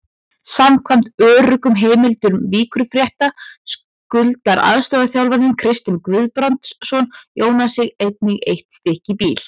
Samkvæmt öruggum heimildum Víkurfrétta skuldar aðstoðarþjálfarinn Kristinn Guðbrandsson Jónasi einnig eitt stykki bíl.